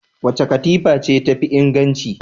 Wace katifa ce tafi inganci?